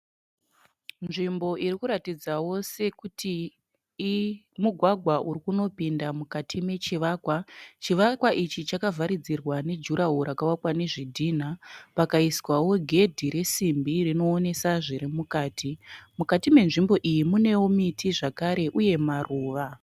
Nzvimbo irikuratidzawo sekuti mugwagwa urikunopinda mukati mechivakwa. Chivakwa ichi chakavharidzirwa ne jura woro rakavakwa nezvidhina. Pakaiswawo gedhi resimbi rinoonesa zviri mukati. Mukati menzvimbo iyi , munewo miti zvekare uye maruva.